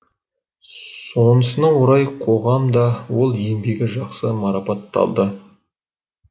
сонысына орай қоғам да ол еңбегі жақсы марапатталды